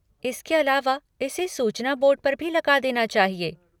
इसके अलावा इसे सूचना बोर्ड पर भी लगा देना चाहिए।